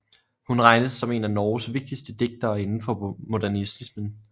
Hun regnes som en af Norges vigtigste digtere indenfor modernismen